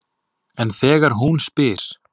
En þegar hún spyr